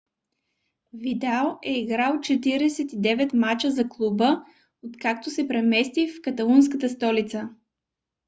видал е играл 49 мача за клуба откакто се премести в каталунската столица